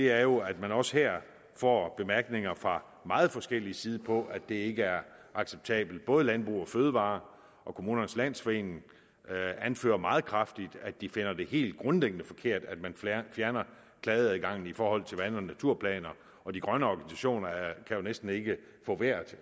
er jo at man også her får bemærkninger fra meget forskellig side om at det ikke er acceptabelt både landbrug fødevarer og kommunernes landsforening anfører meget kraftigt at de finder det helt grundlæggende forkert at man fjerner klageadgangen i forhold til vand og naturplaner og de grønne organisationer kan jo næsten ikke få vejret